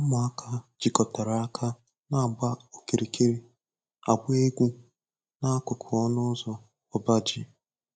Ụmụaka jikọtara aka na-agba okirikiri, agba egwu n'akụkụ ọnụ ụzọ ọba ji.